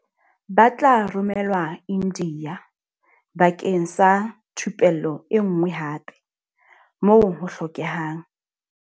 Ba tla romelwa India bakeng sa thupello enngwe hape, moo ho hlokehang.